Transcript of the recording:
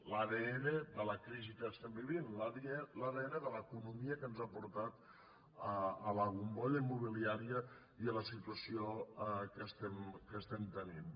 l’adn de la crisi que estem vivint l’adn de l’economia que ens ha portat a la bombolla immobiliària i a la situació que estem tenint